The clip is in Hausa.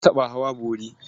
Na taɓa hawa bori.